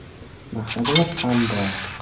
– Maqsadimiz ham bor.